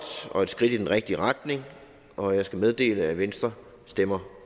og et skridt i den rigtige retning og jeg skal meddele at venstre stemmer